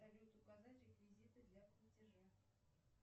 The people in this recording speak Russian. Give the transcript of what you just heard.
салют указать реквизиты для платежа